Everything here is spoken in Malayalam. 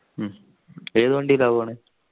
ഏത് വണ്ടീല പോണ